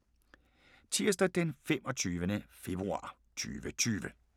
Tirsdag d. 25. februar 2020